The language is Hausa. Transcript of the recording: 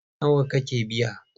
Nawa kika biya?